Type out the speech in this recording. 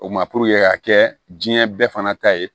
O ma ka kɛ diɲɛ bɛɛ fana ta ye